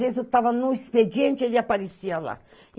Às vezes eu estava no expediente e ele aparecia lá.